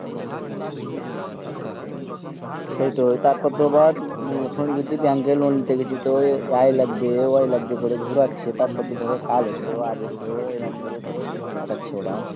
সেই টাই তাঁর পর তো আবার এখন bank এই lone লিচি তো এই লাগবে ওই লাগবে করে গড়াচ্ছে তাঁর পরে ধরো আজ এসো কাল এসো এরকম করে সুমাই কাটাছে ওরা